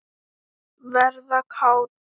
Verða kát.